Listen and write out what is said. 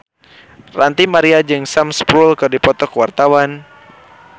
Ranty Maria jeung Sam Spruell keur dipoto ku wartawan